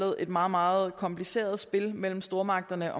et meget meget kompliceret spil mellem stormagterne